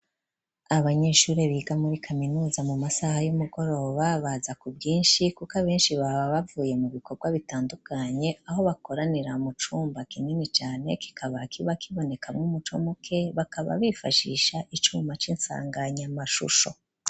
Abanyeshure biga muri kaminuza mu masaha y'umugoroba baza ku bwinshi kuko abenshi baba bavuye mu bikorwa bitandukanye aho bakoranira mu cumba kinini cane kikaba kiba kibonekamwo umuco muke bakaba bifashisha icuma c'insanganyamashusho.